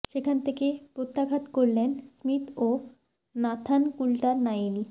সেখান থেকে প্রত্যাঘাত করলেন স্মিথ ও নাথান কুল্টার নাইল